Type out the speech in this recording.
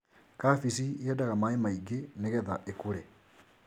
kabeci yendaga maĩ maingĩ nĩ getha ĩkũre.